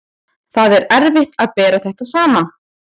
Það er erfitt að bera þetta saman.